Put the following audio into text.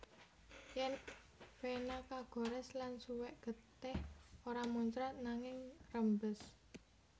Yèn vena kagorès lan suwèk getih ora muncrat nanging ngrembes